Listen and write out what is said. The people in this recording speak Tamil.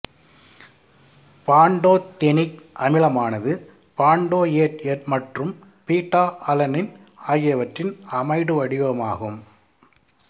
பான்டோதெனிக் அமிலமானது பான்டோயேட் மற்றும் பீட்டாஅலனின் ஆகியவற்றின் அமைடு வடிவமாகும்